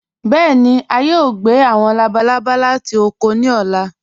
Bẹẹni, à yòò gbẹ̀ àwọn làbàlàbà láti ọ̀kọ̀ ní ọ̀là.